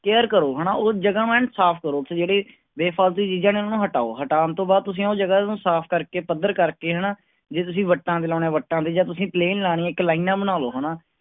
Care ਕਰੋ ਹਨਾ ਉਹ ਜਗ੍ਹਾ ਨੂੰ ਐਨ ਸਾਫ਼ ਕਰੋ ਤੇ ਜਿਹੜੇ ਬੇ-ਫਾਲਤੂ ਚੀਜ਼ਾਂ ਨੇ ਉਹਨੂੰ ਹਟਾਓ ਹਟਾਉਣ ਤੋਂ ਬਾਅਦ ਤੁਸੀਂ ਉਹ ਜਗ੍ਹਾ ਨੂੰ ਸਾਫ਼ ਕਰਕੇ ਪੱਧਰ ਕਰਕੇ ਹਨਾ, ਜੇ ਤੁਸੀਂ ਵੱਟਾਂ ਤੇ ਲਾਉਣੇ ਆਂ ਵੱਟਾਂ ਤੇ ਜਾਂ ਤੁਸੀਂ plain ਲਾਉਣੀ ਹੈ ਇੱਕ ਲਾਇਨਾਂ ਬਣਾ ਲਓ ਹਨਾ।